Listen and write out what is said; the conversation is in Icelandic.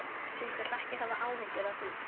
Þú skalt ekki hafa áhyggjur af því.